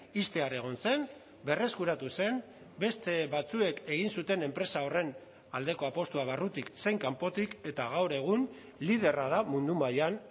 ixtear egon zen berreskuratu zen beste batzuek egin zuten enpresa horren aldeko apustua barrutik zein kanpotik eta gaur egun liderra da mundu mailan